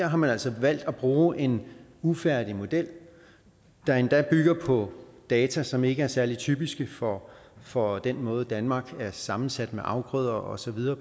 har man altså valgt at bruge en ufærdig model der endda bygger på data som ikke er særlig typiske for for den måde som danmark er sammensat på med afgrøder og så videre